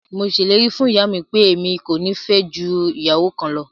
Mo sẹlẹ̀rì fún iyàmi pẹ̀, ẹ̀mi kò ní fẹ́ jù iyàwọ kàn lọ.